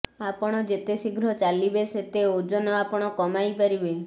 ଆପଣ ଯେତେ ଶୀଘ୍ର ଚାଲିବେ ସେତେ ଓଜନ ଆପଣ କମାଇ ପାରିବେ